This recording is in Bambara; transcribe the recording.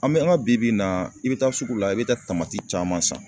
An bɛ an ka bi bi in na, i bɛ taa sugu la ,i bɛ taa caman san.